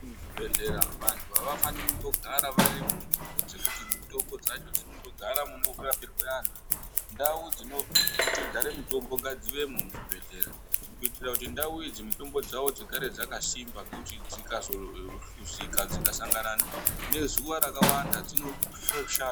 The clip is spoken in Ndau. Muzvibhedhlera vantu havafaniri kundogara varimunzvimbo dzekuti mitombo dzacho dzinondogara munorapirwe vantu. Ndau dzinogare mitombo ngadzivemo muzvibhedhlera, kuitira kuti ndau idzi mitombo dzavo dzigare dzakasimba, ngekuti dzikahluzika dzikasangana nezuva rakawanda dzinoshata.